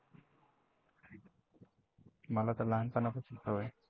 मला तर लहानपणापासून सवय आहे.